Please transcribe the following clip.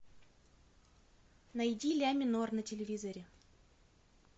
найди ля минор на телевизоре